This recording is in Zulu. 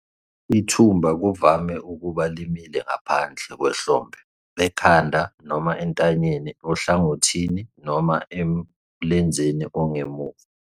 Ithumba kuvame ukuba limile ngaphandle kwehlombe, ekhanda noma entanyeni, ohlangothini noma emlenzeni ongemuva.